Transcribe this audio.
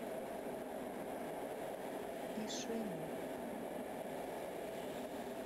ишиму